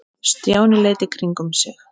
Stjáni leit í kringum sig.